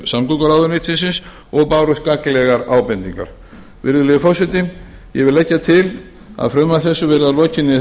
samgönguráðuneytisins og bárust gagnlegar ábendingar virðulegi forseti ég vil leggja til að frumvarpi þessu verði að lokinni